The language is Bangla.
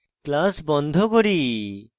তারপর আমরা class বন্ধ করি